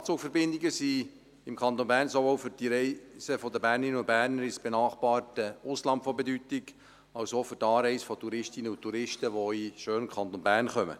Nachtzugverbindungen sind im Kanton Bern sowohl für die Reisen der Bernerinnen und Berner ins benachbarte Ausland von Bedeutung als auch für die Anreise von Touristinnen und Touristen, die in den schönen Kanton Bern kommen.